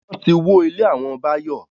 Wọ́n ti wó ilé àwọn Bayo